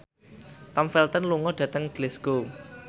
Tom Felton lunga dhateng Glasgow